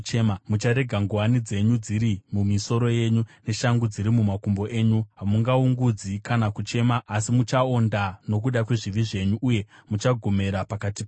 Mucharega nguwani dzenyu dziri mumisoro yenyu neshangu dziri mumakumbo enyu. Hamungaungudzi kana kuchema asi muchaonda nokuda kwezvivi zvenyu uye muchagomera pakati penyu.